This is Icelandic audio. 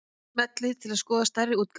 Smellið til að skoða stærri útgáfu